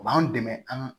O b'an dɛmɛ an